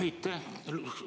Aitäh!